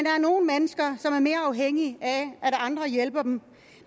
er nogle mennesker som er mere afhængige af at andre hjælper dem